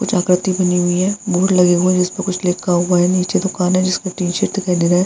कुछ आकृति बनी हुई है बोर्ड लगी हुई है जिस पे कुछ लिखा हुआ है नीचे दुकान है जिस पे टी-शर्ट दिखाई दे रहे है।